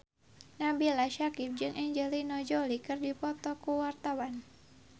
Nabila Syakieb jeung Angelina Jolie keur dipoto ku wartawan